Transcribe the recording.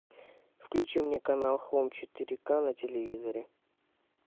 включи мне канал хоум четыре к на телевизоре